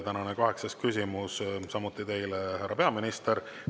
Tänane kaheksas küsimus on samuti teile, härra peaminister.